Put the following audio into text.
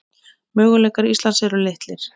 Möguleikar Íslands eru litlir